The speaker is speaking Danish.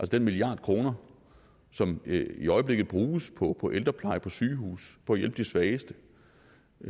den milliard kroner som i øjeblikket bruges på ældrepleje på sygehuse på at hjælpe de svageste